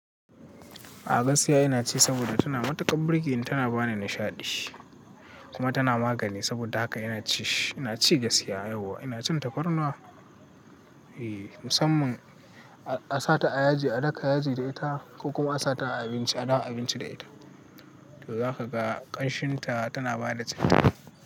A gasiya ina ci saboda tana matukar burki, tana bani nishaɗi kuma tana magani. Saboda haka ina ci shi. Ina ci gasiya yau, ina cin tafarnuwa musamman a sa ta a yaji, a daka yaji da ita ko kuma a sa ta a abinci, a dawo abinci da ita. To za ka ga ƙanshin ta tana bada citta.